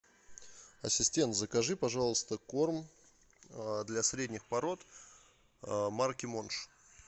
ассистент закажи пожалуйста корм для средних пород марки монш